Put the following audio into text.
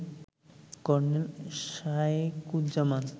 colonel Shayekuzzaman